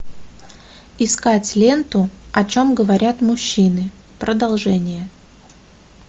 искать ленту о чем говорят мужчины продолжение